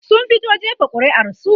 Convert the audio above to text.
sun fito jefa ƙuri'ar su